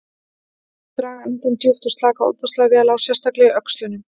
Viltu draga andann djúpt og slaka ofboðslega vel á, sérstaklega í öxlunum.